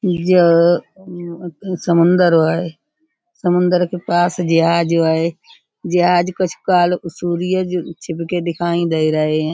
यह म् समंदर है। समुंदर के पास जहाज है। जहाज को दिखाई दे रहे हैं।